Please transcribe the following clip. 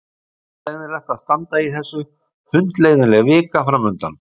Það er hundleiðinlegt að standa í þessu, hundleiðinleg vika framundan.